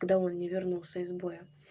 когда он не вернулся из боя